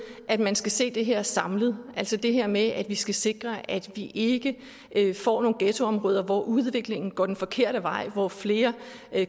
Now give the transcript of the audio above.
at man skal se det her samlet altså det her med at vi skal sikre at vi ikke får nogle ghettoområder hvor udviklingen går den forkerte vej hvor flere